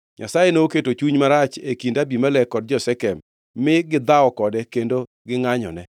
Nyasaye noketo chuny marach e kind Abimelek kod jo-Shekem mi gidhawo kode kendo gingʼanyone.